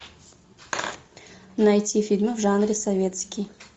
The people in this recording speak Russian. найти фильмы в жанре советский